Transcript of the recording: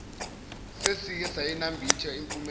sesike sayinambitha impumelelo